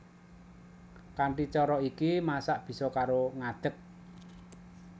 Kanthi cara iki masak bisa karo ngadég